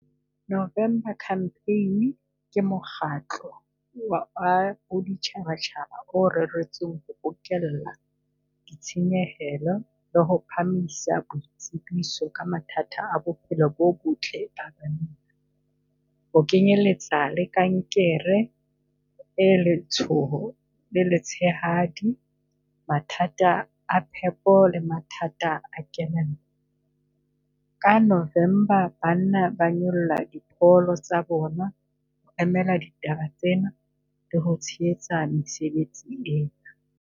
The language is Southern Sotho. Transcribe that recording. November campaign ke mokgatlo wa baditjhabatjhaba o reretsweng ho bokella ditshenyehelo le ho phahamisa boitsebiso ka mathata a bophelo bo botle . Ho kenyeletsa le kankere e letshoho le letshehadi, mathata a phepo le mathata a kelello. Ka November banna ba nyolla dipono tsa bona le ho emela ditaba tsena di ho tshehetsa mesebetsi ena.